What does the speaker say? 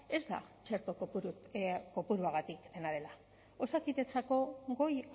ez da txerto kopuruagatik dena dela osakidetzako goi